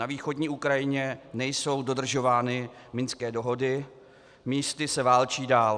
Na východní Ukrajině nejsou dodržovány minské dohody, místy se válčí dál.